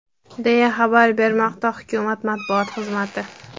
deya xabar bermoqda hukumat matbuot xizmati.